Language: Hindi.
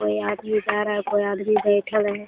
कोई आदमी जा रहा है कोई आदमी बैठल है।